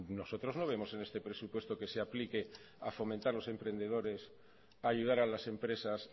nosotros no vemos en este presupuesto que se aplique a fomentar los emprendedores ayudar a las empresas